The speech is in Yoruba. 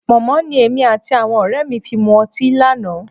Pọ̀nmọ́ ni èmi àti àwọn ọ̀rẹ́ mi fi mu ọtí lánàá